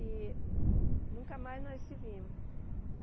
E nunca mais nós se vimos.